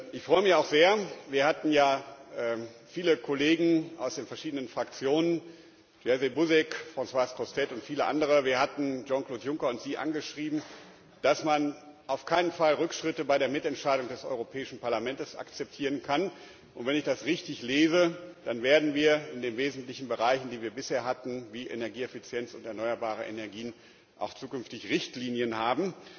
Ich freue mich auch sehr, wir hatten ja viele Kollegen aus den verschiedenen Fraktionen, Jerzy Buzek, Françoise Grossetête und viele andere sowie Jean Claude Juncker und Sie angeschrieben, dass man Rückschritte bei der Mitentscheidung des Europäischen Parlaments auf keinen Fall akzeptieren kann, und wenn ich das richtig lese, dann werden wir in den wesentlichen Bereichen, die wir bisher hatten, wie Energieeffizienz und erneuerbare Energien, auch zukünftig Richtlinien haben.